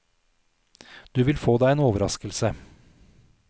Du vil få deg en overraskelse.